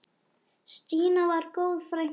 Stína var góð frænka.